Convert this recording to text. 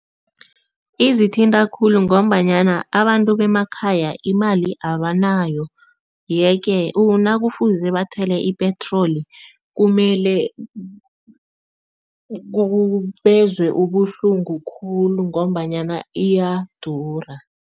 Izithinta khulu ngombanyana abantu bemakhaya imali abanayo yeke nakufuze bathele ipetroli, kumele bezwe ubuhlungu khulu ngombanyana iyadura.